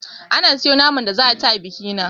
Ana soya naman da za a ci a bikina